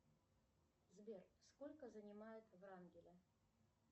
сбер сколько занимает врангеля